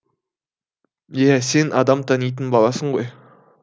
иә сен адам танитын баласың ғой